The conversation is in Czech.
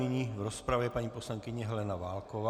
Nyní v rozpravě paní poslankyně Helena Válková.